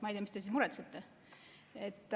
Ma ei tea, mis te siis muretsete.